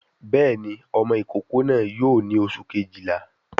Béèni ọmọ ìkókó náà yóò ní oṣù Kejìlá